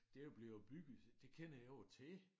Det jo blevet bygget det kender jeg jo til